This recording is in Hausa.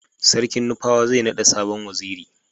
sarkin nupawa zai nada sabon waziri